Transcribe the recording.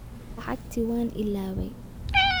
Lacagtii waan ilaaway.